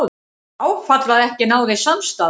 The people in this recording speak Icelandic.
Áfall að ekki náðist samstaða